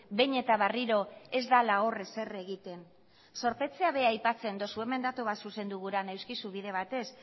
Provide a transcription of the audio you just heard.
behin eta berriro ez dela hor ezer egiten zorpetzea bera aipatzen duzu hemen datu bat zuzendu gura neuzkizu bide batez